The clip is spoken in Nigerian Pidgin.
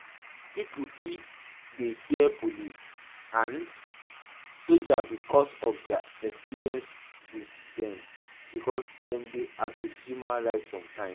Pipo fit dey fear police and and soldier because of their experience with them because dem dey abuse human right sometimes